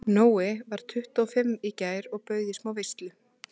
Nói varð tuttugu og fimm í gær og bauð í smá veislu.